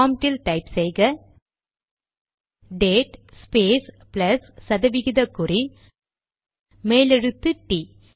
ப்ராம்ட்டில் type செய்க date space plus சதவிகித குறி மேலெழுத்து டி T